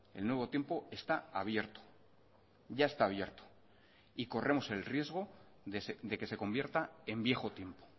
el nuevo tiempo está abierto ya está abierto y corremos el riesgo de que se convierta en viejo tiempo